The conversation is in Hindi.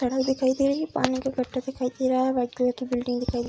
सड़क दिखाई दे रही है पानी का गड्ढा दिखाई दे रहा है व्हाइट कलर की बिल्डिंग दिखाई --